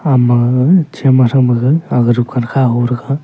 ama ga chem ma thow ma ga aga dukan kha ho thega.